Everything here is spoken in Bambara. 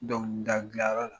Dɔnkilida gilan yɔrɔ la .